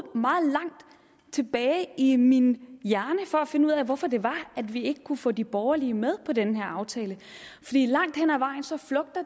meget tilbage i min hjerne for at finde ud af hvorfor det var at vi ikke kunne få de borgerlige med på den her aftale langt